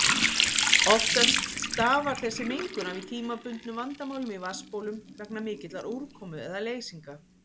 Oftast stafar þessi mengun af tímabundnum vandamálum í vatnsbólum vegna mikillar úrkomu eða leysinga.